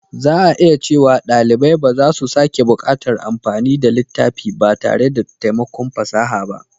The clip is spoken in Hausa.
Za a iya cewa ɗalibai ba za su sake buƙatar amfani da littafi ba tare da taimakon fasaha ba.